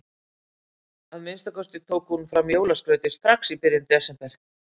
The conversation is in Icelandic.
Að minnsta kosti tók hún fram jólaskrautið strax í byrjun desember.